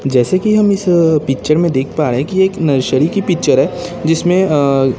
जैसे कि हम इस पिक्चर में देख पा रहे है की एक नर्सरी की पिक्चर है जिसमें अअ--